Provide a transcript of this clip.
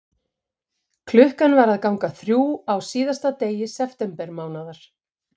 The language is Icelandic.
Klukkan var að ganga þrjú á síðasta degi septembermánaðar.